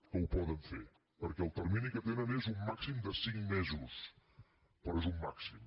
que ho poden fer perquè el termini que tenen és un màxim de cinc mesos però és un màxim